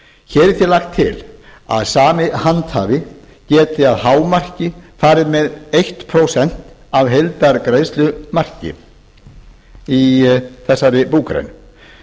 hér er því lagt til að sami handhafi geti að hámarki farið með eitt prósent af heildargreiðslumarki í þessari búgrein